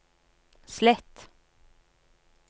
slett